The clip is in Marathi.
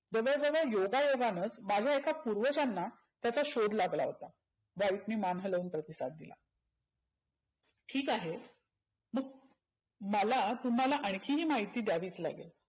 जवळ जवळ योगा योगानचं माझ्या एका पुर्वजांना त्याचा शोध लागला होता. व्हाईटने मान हलवून प्रतिसाद दिला. ठिक आहे. मग मला तुम्हाला ही महिती द्याविच लागेल.